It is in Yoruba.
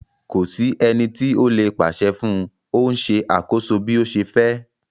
Ko si eni ti o le paṣẹ fun u, o n ṣe akoso bi o ṣe fẹ